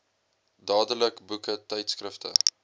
dadelik boeke tydskrifte